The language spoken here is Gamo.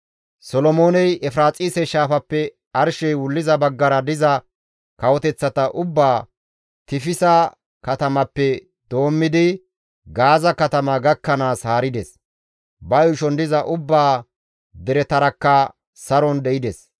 Solomooney Efiraaxise Shaafappe arshey wulliza baggara diza kawoteththata ubbaa Tifisa katamappe doommidi Gaaza katama gakkanaas haarides; ba yuushon diza ubbaa deretarakka saron de7ides.